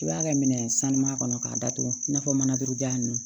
I b'a kɛ minɛn sanuya kɔnɔ k'a datugu i n'a fɔ mana turu jaa ninnu